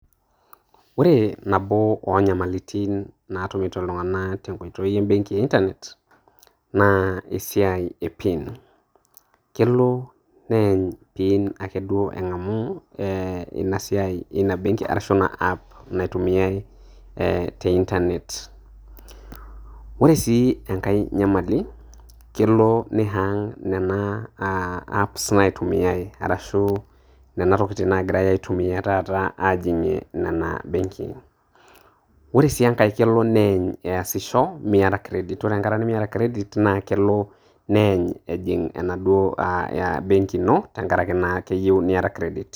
Ore nabo onyamalitin natumito iltung'anak tenkoitoi ebenki e Internet ,na esiai e PIN. Kelo neeny PIN ake duo eng'amu e inasiai ina benki arashu ina app naitumiai e te Internet. Ore si enkae nyamali, kelo ni hang nena apps naitumiai arashu, nena tokiting' nagirai aitumia taata ajing'ie nena benkin. Ore si enkae, kelo neeny easisho miata kredit. Ore enkata nimiata kredit, na kelo neeny ejing' anaduo a benki ino tenkaraki akeyieu niata kredit.